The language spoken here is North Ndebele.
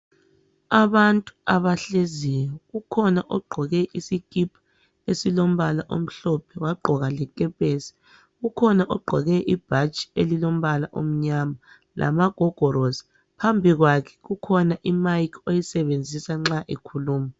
Abantu abahleziyo kukhona ogqoke isikhipha esilombala omhlophe wagqoka lekhephesi. Kukhona ogqoke ibhatshi elilombala elimnyama lamagogorosi .Phambi kwakhe kukhona imayikhi oyisebenzisa nxa ekhuluma.